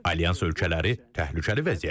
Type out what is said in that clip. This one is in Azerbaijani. Alyans ölkələri təhlükəli vəziyyətdədir.